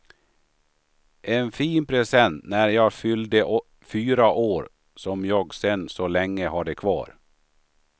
En fin present, när jag fyllde fyra år som jag sen så länge hade kvar.